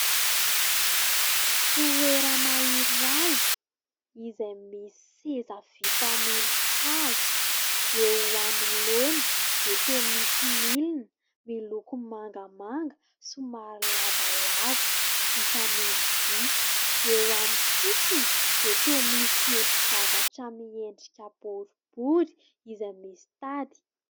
Toerana iray izay misy seza vita amin'ny hazo. Eo anoloany dia toa misy milina miloko mangamanga somary lavalava vita amin'ny vy. Eo amin'ny sisiny dia toa misy endri-javatra miendrika boribory izay misy tady.